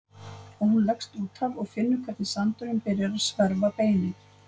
Og hún leggst út af og finnur hvernig sandurinn byrjar að sverfa beinin.